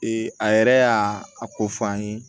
a yɛrɛ y'a a ko fɔ an ye